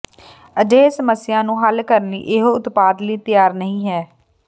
ਅਜਿਹੇ ਸਮੱਸਿਆ ਨੂੰ ਹੱਲ ਕਰਨ ਲਈ ਇਹੋ ਉਤਪਾਦ ਲਈ ਤਿਆਰ ਨਹੀ ਹੈ